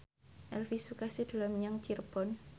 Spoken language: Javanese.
Elvi Sukaesih dolan menyang Cirebon